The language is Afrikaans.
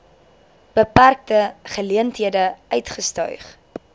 beperkte geleenthede uitgestyg